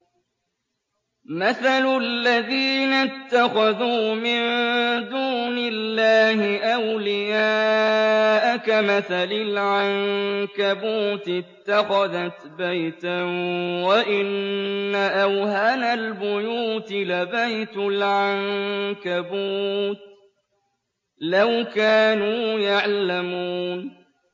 مَثَلُ الَّذِينَ اتَّخَذُوا مِن دُونِ اللَّهِ أَوْلِيَاءَ كَمَثَلِ الْعَنكَبُوتِ اتَّخَذَتْ بَيْتًا ۖ وَإِنَّ أَوْهَنَ الْبُيُوتِ لَبَيْتُ الْعَنكَبُوتِ ۖ لَوْ كَانُوا يَعْلَمُونَ